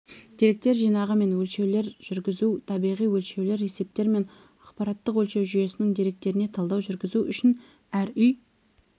деректер жинағы мен өлшеулер жүргізу табиғи өлшеулер есептер мен ақпараттық-өлшеу жүйесінің деректеріне талдау жүргізу үшін әр үй